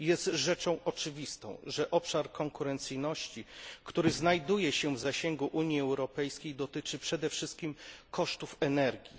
Jest rzeczą oczywistą, że obszar konkurencyjności, który znajduje się w zasięgu Unii Europejskiej, dotyczy przede wszystkim kosztów energii.